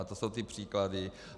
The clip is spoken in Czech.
A to jsou ty příklady.